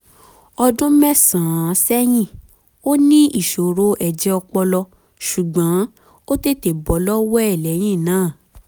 ọdún mẹ́sàn-án sẹ́yìn ó ní ìṣòro ẹ̀jẹ̀ ọpọlọ ṣùgbọ́n ó tètè bọ́ lọ́wọ́ ẹ̀ lẹ́yìn náà